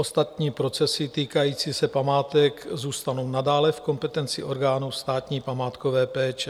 Ostatní procesy týkající se památek zůstanou nadále v kompetenci orgánů státní památkové péče.